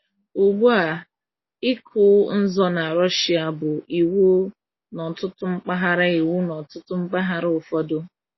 Ugbu a, ịkụ nzọ na Russia bụ iwu n’ọtụtụ mpaghara iwu n’ọtụtụ mpaghara ụfọdụ.